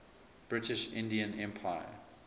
british indian empire